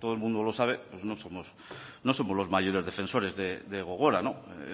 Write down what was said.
todo el mundo lo sabe pues no somos no somos los mayores defensores de gogora